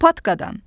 Patkadan.